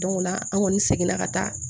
o la an kɔni seginna ka taa